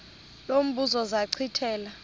lo mbuzo zachithela